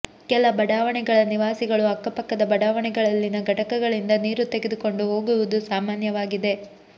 ಕೆಲ ಬಡಾವಣೆಗಳ ನಿವಾಸಿಗಳು ಅಕ್ಕಪಕ್ಕದ ಬಡಾವಣೆಗಳಲ್ಲಿನ ಘಟಕಗಳಿಂದ ನೀರು ತೆಗೆದುಕೊಂಡು ಹೋಗುವುದು ಸಾಮಾನ್ಯವಾಗಿದೆ